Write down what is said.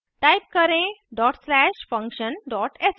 type करें dot slash function dot sh